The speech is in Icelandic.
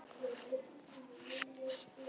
Einn þeirra var Gunnar Sólnes.